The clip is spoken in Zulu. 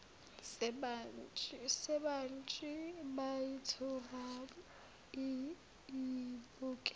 sebhantshi yayithula iyibuke